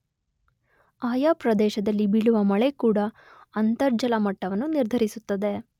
ಆಯಾ ಪ್ರದೇಶದಲ್ಲಿ ಬೀಳುವ ಮಳೆ ಕೂಡ ಅಂತರ್ಜಲ ಮಟ್ಟವನ್ನು ನಿರ್ಧರಿಸುತ್ತದೆ.